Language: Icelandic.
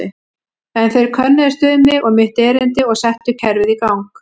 En þeir könnuðust við mig og mitt erindi og settu kerfið í gang.